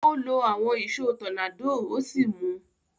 Ó lo àwon ìsó tornado ó sì mu